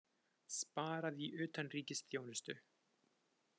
Sparað í utanríkisþjónustu